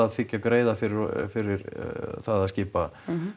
þiggja greiða fyrir fyrir að skipa